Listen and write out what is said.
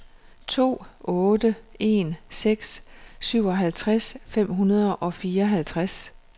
to otte en seks syvoghalvtreds fem hundrede og fireoghalvtreds